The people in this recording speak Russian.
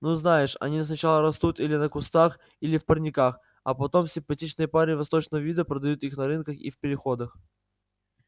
ну знаешь они сначала растут или на кустах или в парниках а потом симпатичные парни восточного вида продают их на рынках и в переходах